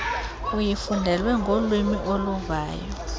uyifundelwe ngolwiimi oluvayo